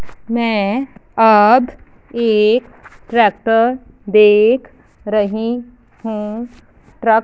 मैं अब एक ट्रैक्टर देख रही हूं ट्रक --